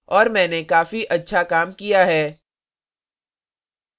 और मैंने काफी अच्छा काम किया है